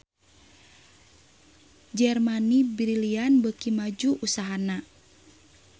Germany Brilliant beuki maju usahana